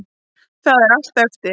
Það er allt eftir.